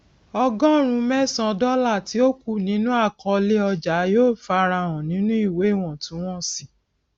ọgọrùn mẹsan dọlà tí ó kù nínú àkọolé ọjà yóò fara hàn nínú ìwé iwọntúnwọnsì